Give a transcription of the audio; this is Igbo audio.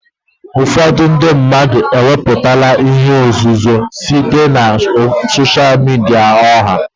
Ụfọdụ ndị mmadụ ewepụtala ihe nzuzo site na sosha midia ọha.